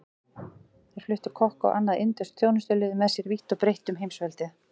Þeir fluttu kokka og annað indverskt þjónustulið með sér vítt og breitt um heimsveldið.